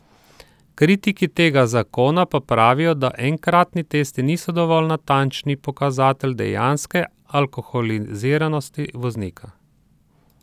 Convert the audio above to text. Kritiki tega zakona pa pravijo, da enkratni testi niso dovolj natančni pokazatelj dejanske alkoholiziranosti voznika.